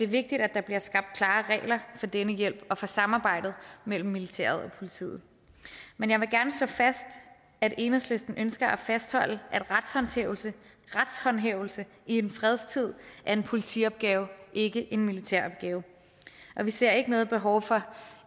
vigtigt at der bliver skabt klare regler for denne hjælp og for samarbejdet mellem militæret politiet men jeg vil gerne slå fast at enhedslisten ønsker at fastholde at retshåndhævelse i en fredstid er en politiopgave ikke en militæropgave vi ser ikke noget behov for